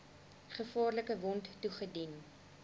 gevaarlike wond toegedien